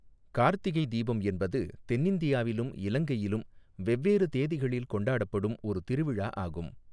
கார்த்திகை தீபம் என்பது தென்னிந்தியாவிலும் இலங்கையிலும் வெவ்வேறு தேதிகளில் கொண்டாடப்படும் ஒரு திருவிழா ஆகும்.